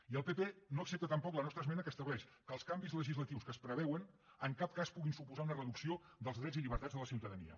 i el pp no accepta tampoc la nostra esmena que estableix que els canvis legislatius que es preveuen en cap cas puguin suposar una reducció dels drets i llibertats de la ciutadania